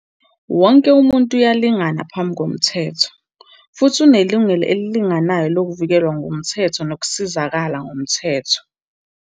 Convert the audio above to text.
Wonke umuntu uyalingana phambi komthetho, futhi unelungelo elilinganayo lokuvikelwa ngumthetho nokusizakala ngomthetho.